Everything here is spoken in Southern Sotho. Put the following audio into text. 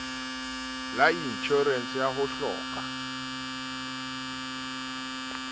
la inshorense ya ho hloka